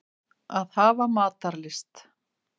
Að hafa matarlyst.